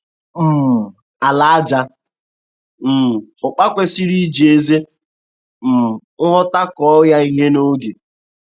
um Ala aja um ụpa kwesiri iji ezi um nghọta kọọ ya ihe n'oge.